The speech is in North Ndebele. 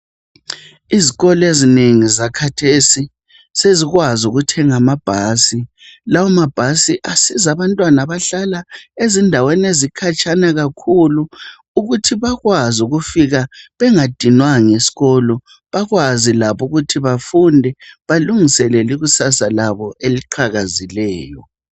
Izikolo ezinengi zakhathesi sezikwazi ukuthenga amabhasi lawamabhasi asiza abantwana abahlala khatshana kakhulu ukuthi bakwazi ukufika bengadinwanga esikolo Bakwazi labo ukuthi bafunde balingisele ikusasa labo eliqhakazileyo